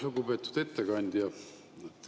Lugupeetud ettekandja!